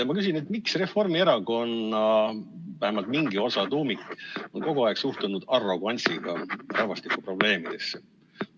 Ma küsin, et miks Reformierakonna vähemalt mingi osa tuumikust on kogu aeg suhtunud arrogantsiga rahvastikuprobleemidesse.